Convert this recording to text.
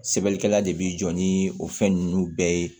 Sɛbɛnnikɛla de bi jɔ ni o fɛn nunnu bɛɛ ye